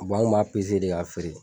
Bɔn anw b'a pese de k'a feere